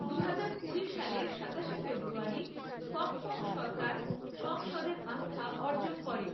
দুহাজার কুড়ি সালের সাতাশে ফেব্রুয়ারি ফখফখ সরকার সংসদের আস্থা অর্জন করে।